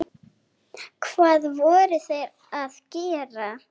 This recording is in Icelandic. Hvað voru þeir að gera?